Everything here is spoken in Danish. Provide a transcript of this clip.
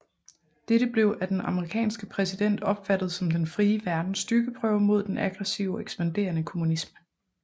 Dette blev af den amerikanske præsident opfattet som den frie verdens styrkeprøve mod den aggressive og ekspanderende kommunisme